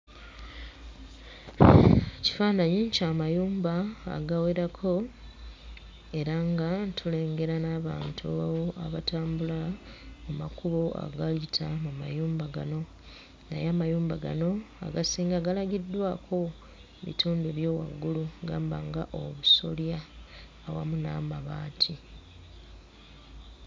Ekifaananyi kya mayumba agawerako era nga tulengera n'abantu abatambula mu makubo agayita mu mayumba gano, naye amayumba gano agasinga galagiddwako bitundu by'owaggulu gamba nga obusolya awamu n'amabaati.